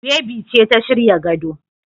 Bebi ce ta shirya gado.